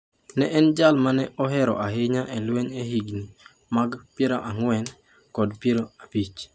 Ne en jal ma ne ohero ahinya e lweny e higni mag 40 gi 50.